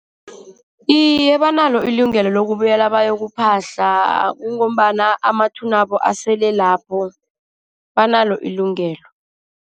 Iye, banalo ilungelo lokubuyela bayokuphahla. Kungombana amathunabo asele lapho, banalo ilungelo.